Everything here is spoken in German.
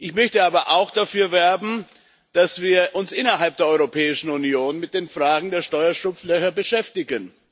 Ich möchte aber auch dafür werben, dass wir uns innerhalb der Europäischen Union mit den Fragen der Steuerschlupflöcher beschäftigen.